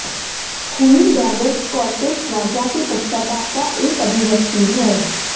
खूनी dagger Scottish राजा के पश्चाताप का एक अभिव्यक्ति है